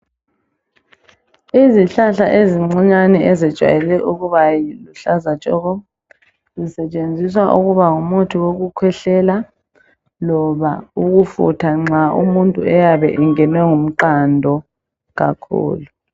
Izihlahla ezincinyane ezijayele ukuba luhlaza tshoko, zisetshenziswa ukuba ngumuthi wokukhwehlela loba ukufutha nxa umuntu eyabe engenwe ngumqando kakhulu